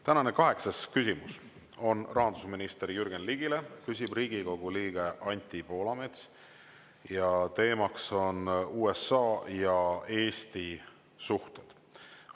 Tänane kaheksas küsimus on rahandusminister Jürgen Ligile, küsib Riigikogu liige Anti Poolamets ning teema on USA ja Eesti suhted.